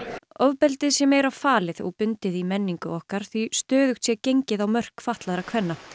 ofbeldið sé meira falið og bundið í menningu okkar því stöðugt sé gengið á mörk fatlaðra kvenna